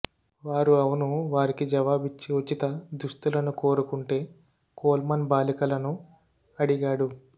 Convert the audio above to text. వారు అవును వారికి జవాబిచ్చే ఉచిత దుస్తులను కోరుకుంటే కోల్మన్ బాలికలను అడిగాడు